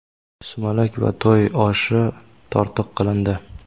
sumalak va to‘y oshi tortiq qilindi.